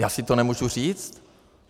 Já si to nemůžu říct?